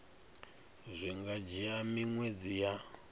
zwi nga dzhia miṅwedzi ya